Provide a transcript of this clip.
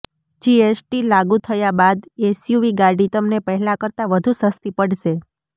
GST લાગુ થયા બાદ એસયુવી ગાડી તમને પહેલા કરતાં વધુ સસ્તી પડશે